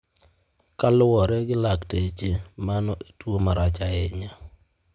Kaluwore gi lakteche, mano en tuwo marach ahinya.